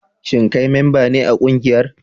Shin kai memba ne a kungiyar?